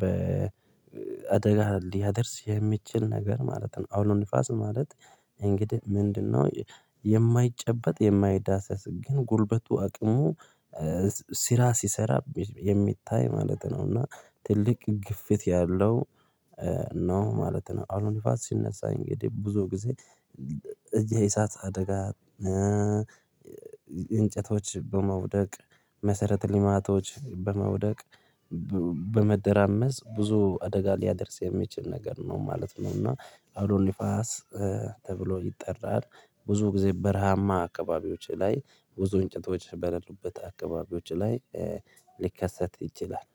በአደጋ ሊያደርስ የሚችል ነገር ማለት ነው። አውሎ ንፋስ ማለት እንግዲህ ምንድነው የማይጨበጥ የማይዳሰስ ግን ጉልበቱ አቅሙ ሲሰራ የሚታይ ማለት ነው። እና ትልቅ ግፊት ያለው ነው ማለት ነው። አውሎ ንፋስ ሲነሳኝ እንግዲህ ብዙ ጊዜ የእሳት አደጋ እንጨቶች በመውደቅ፣ መሰረት ልማቶች በመውደቅ ብዙ አደጋ ሊያደርስ የሚችል ነገር ነው ማለት ነው። እና አውሎ ንፋስ ተብሎ ይጠራል። ብዙ ጊዜ በረሃማ አካባቢዎች ላይ ብዙ እንጨቶች በለሉበት አካባቢዎች ላይ ሊከሰት ይችላል።